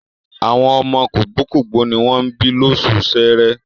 Àwọn ọmọ kògbókògbó ní wọ́n bí lóṣù Ṣẹẹrẹ.